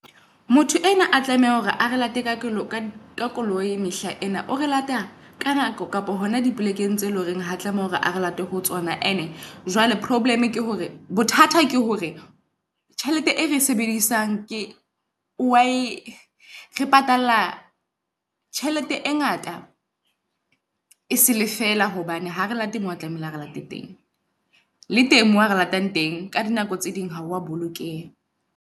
Motho enwa a tlameha hore a re late ka koloi ka koloi mehla ena o re lata ka nako kapa hona dipolekeng tse loreng ha tla mo re re late ho tsona. And-e jwale -problem ke hore bothata ke hore tjhelete ere e sebedisang ke wae re patala tjhelete e ngata e sele fela hobane ha re late mo a tlamehile Ala re late teng. Le teng mo a re latang teng ka di nako tse ding ha wa bolokeha.